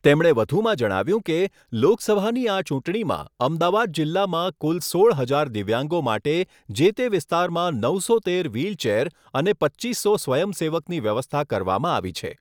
તેમણે વધુમાં જણાવ્યુંં કે, લોકસભાની આ ચૂંટણીમાં અમદાવાદ જિલ્લામાં કુલ સોળ હજાર દિવ્યાંગો માટે જે તે વિસ્તારમાં નવસો તેર વ્હીલચેર અને પચ્ચીસો સ્વયંસેવકની વ્યવસ્થા કરવામાં આવી છે.